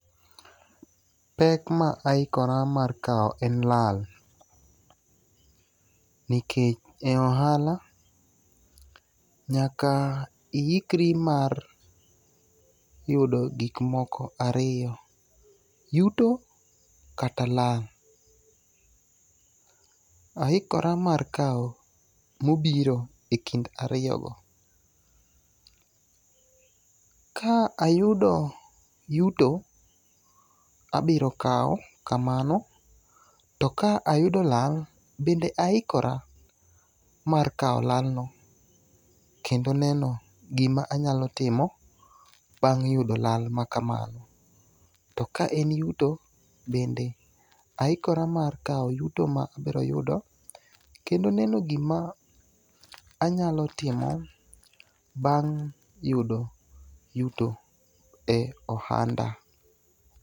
Pek ma ahikora mar kawo en lal. Nikech e ohala nyaka ihikri mar yudo gikmoko ariyo. Yuto kata lal. Ahikora mar kawo mobiro e kind ariyogo. Ka ayudo yuto abiro kawo kamano. To ka ayudo lal bende ahikora mar kawo lalno kendo neno gima anyalo timo bang' yudo lal ma kamano. To ka en yuto, bende ahikora mar kawo yuto ma abiro yudo kendo neno gima anyalo timo bang' yudo yuto e ohanda.